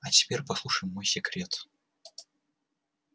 а теперь послушай мой секрет